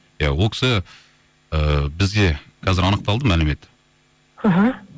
иә ол кісі ііі бізде қазір анықталды мәлімет іхі